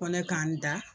Ko ne k'an da